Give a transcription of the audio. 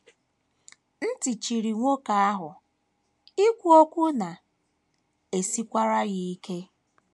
Ntị chiri nwoke ahụ, ikwu okwu na - esikwara ya ike.